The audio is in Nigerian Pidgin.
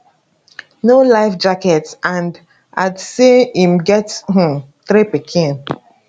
no life jacket and add say im get um three pikin